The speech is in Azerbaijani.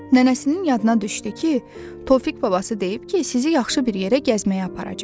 Nənəsinin yadına düşdü ki, Tofiq babası deyib ki, sizi yaxşı bir yerə gəzməyə aparacam.